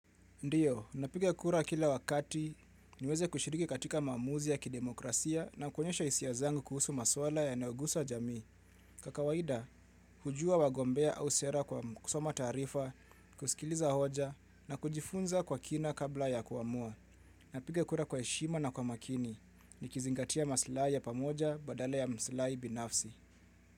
Ndiyo, napiga kura kila wakati niweze kushiriki katika maamuzi ya kidemokrasia na kwenyesha isia zangu kuhusu maswala ya naugusa jamii. Kwa kaaida, hujua wagombea au sera kwa kusoma tarifa, kusikiliza hoja na kujifunza kwa kina kabla ya kuamua. Napiga kura kwa heshima na kwa makini. Nikizingatia maslahi ya pamoja badala ya maslahi binafsi.